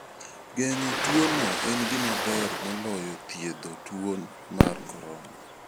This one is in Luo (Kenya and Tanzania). Geng'o tuono en gima ber moloyo thiedho tuo mar corona.